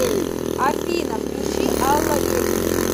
афина включи алла велик